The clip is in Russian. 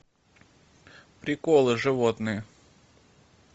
приколы животные